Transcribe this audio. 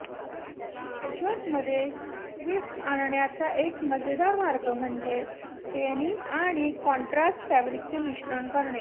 पॅचवर्कमध्ये twist आणण्याचा एक मजेदार मार्ग म्हणजे डेनिम आणि कॉन्ट्रास्ट फॅब्रिकचे मिश्रण करणे